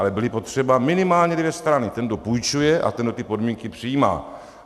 Ale byly potřeba minimálně dvě strany - ten, kdo půjčuje, a ten, kdo ty podmínky přijímá.